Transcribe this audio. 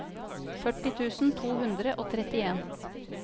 førti tusen to hundre og trettien